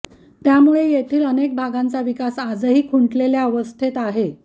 त्यामुळे येथील अनेक भागांचा विकास आजही खुंटलेल्या अवस्थेत आहे